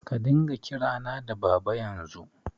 Ka dinga kirana da Baba yanzu!